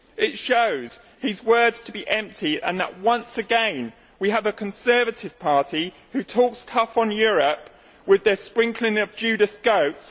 It shows his words to be empty and that once again we have a Conservative Party which talks tough on Europe, with its sprinkling of Judas goats.